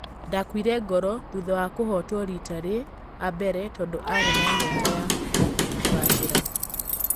Ndakuire ngoro thutha wa kũhotwo rita rĩ a mbere tondũ arĩ na nyota wa kũgacĩ ra.